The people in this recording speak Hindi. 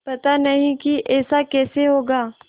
पता नहीं कि ऐसा कैसे होगा